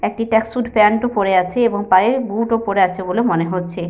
একটি track suit pant -ও পরে আছে এবং পায়ে বুট -ও পরে আছে বলে মনে হচ্ছে।